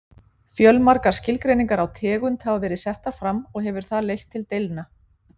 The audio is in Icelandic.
Fjölmargar skilgreiningar á tegund hafa verið settar fram og hefur það leitt til deilna.